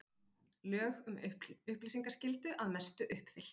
Lög um upplýsingaskyldu að mestu uppfyllt